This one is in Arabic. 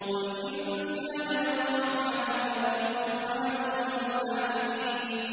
قُلْ إِن كَانَ لِلرَّحْمَٰنِ وَلَدٌ فَأَنَا أَوَّلُ الْعَابِدِينَ